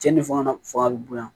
Cɛnni fanga fanga bɛ bonya